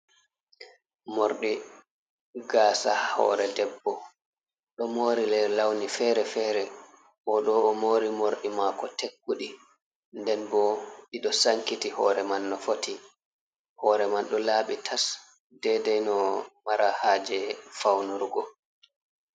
Mordi gasa hore debbo, ɗo mori lei lawni fere-fere ɓo ɗo o mori morɗi mako tekkuɗi nden bo ɓeɗo sankiti hore man no foti hore man do labi tas dedei no mara haje faunurgo.